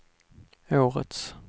årets